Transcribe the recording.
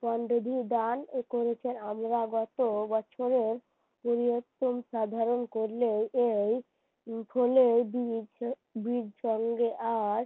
করেছে আমরা গত বছরের সাধারণ করলেও এই আর